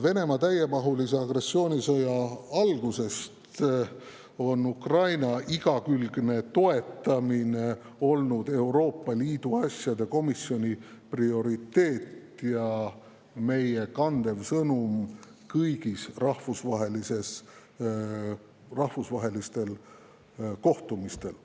Venemaa täiemahulise agressioonisõja algusest on Ukraina igakülgne toetamine olnud Euroopa Liidu asjade komisjoni prioriteet ja meie põhisõnum kõigil rahvusvahelistel kohtumistel.